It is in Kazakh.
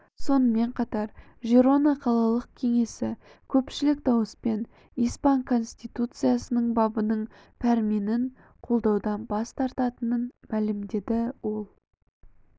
сонымен қатар жирона қалалық кеңесі көпшілік дауыспен испан конституциясының бабының пәрменін қолдаудан бас тартатынын мәлімдеді ол